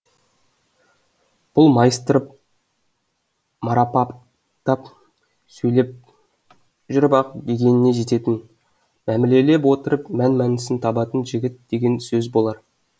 бұл майыстырып марапаттап сөйлеп жүріп ақ дегеніне жететін мәмілелеп отырып мән мәнісін табатын жігіт деген сөз болар